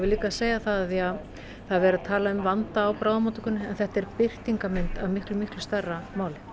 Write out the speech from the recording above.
líka segja það að það er verið að tala um vanda á bráðamóttökunni að þetta er birtingarmynd af miklu miklu stærra máli